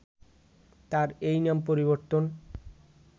তার এই নাম পরিবর্তন